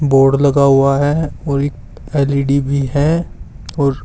board लगा हुआ है और एक एल_ई_डी भी है और--